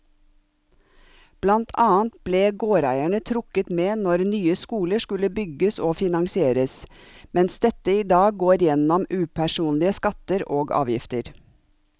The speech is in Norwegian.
Blant annet ble gårdeierne trukket med når nye skoler skulle bygges og finansieres, mens dette i dag går gjennom upersonlige skatter og avgifter.